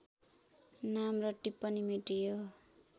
नाम र टिप्पणी मेटियो